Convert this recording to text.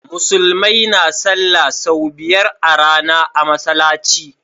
Musulmai na sallah sau biyar a rAna a masalaci